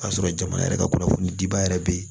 K'a sɔrɔ jamana yɛrɛ ka kunnafoni diba yɛrɛ bɛ ye